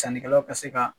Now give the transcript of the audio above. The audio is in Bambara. Sannikɛlaw ka se ka